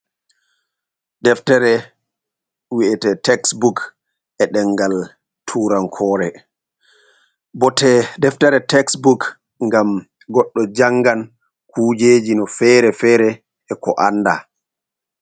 Deftere wi’ete teksbook e ɗengal turankore, bote deftere teksbook gam goɗɗo jangan kujeji no fere-fere e ko anda.